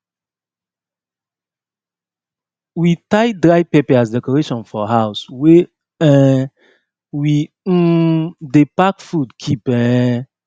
we tie dry pepper as decoration for house wey um we um dey pack food keep um